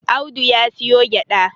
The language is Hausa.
Audu ya siyo gyada